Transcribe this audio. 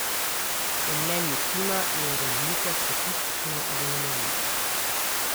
Po mnenju Kima je razlika statistično zanemarljiva.